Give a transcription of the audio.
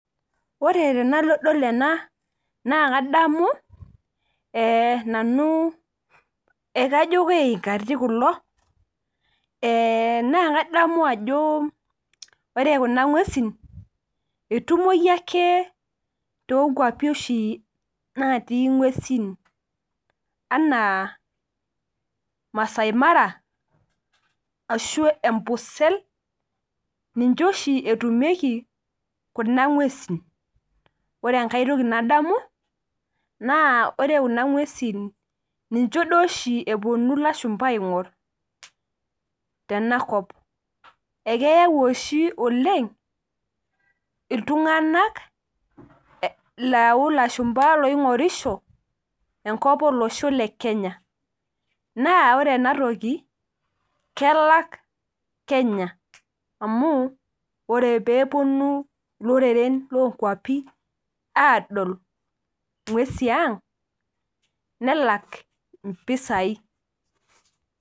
Ore tenadol ena, naa kadamu nanu ekajo keinkati kulo, naa kadamu ajo ore kuna ng'uesin, etumoyu ake tonkwapi oshi natii ng'uesin. Anaa, Masai Mara, ashu Ambosel, ninche oshi etumieki kuna ng'uesin. Ore enkae toki nadamu, naa ore kuna ng'uesin ninche duo oshi eponu ilashumpa aing'or tenakop. Ekeyau oshi oleng, iltung'anak lau lashumpa loing'orisho, enkop olosho le Kenya. Naa ore enatoki, kelak Kenya. Amu, ore peeponu iloreren lonkwapi adol ng'uesi ang, nelak impisai.